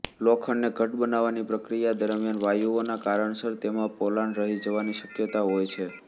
લોખંડને ઘટ્ટ બનાવવાની પ્રક્રિયા દરમિયાન વાયુઓના કારણસર તેમાં પોલાણ રહી જવાની શક્યતા હોય છે